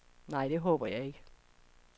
Nej, det håber jeg ikke.